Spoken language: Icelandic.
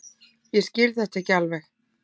Ég skil þetta ekki alveg.